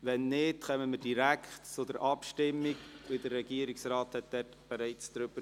Wenn nicht, stimmen wir direkt ab, denn der Regierungsrat hat sich bereits geäussert.